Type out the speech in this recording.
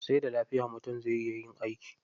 Sai da lafiya mutum zai iya yin aiki.